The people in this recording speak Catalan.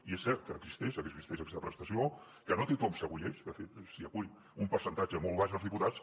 i és cert que existeix existeix aquesta prestació que no tothom s’hi acull de fet s’hi acull un percentatge molt baix dels diputats